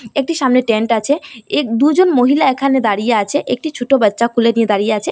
একটি সামনে টেন্ট আচে এ দুজন মহিলা একানে দাড়িয়ে আচে একটি ছোটো বাচ্চা কোলে নিয়ে দাড়িয়ে আচে।